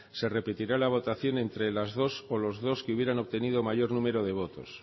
se repetirá la votación entre las dos o los dos que hubieran obtenido mayor número de votos